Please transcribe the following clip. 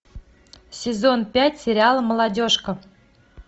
сезон пять сериала молодежка